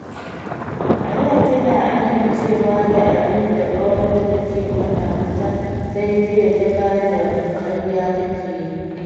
A da tana amincewa da abin da ƙawarta take faɗa mata, sai jiya ta gane ƙarya take yi.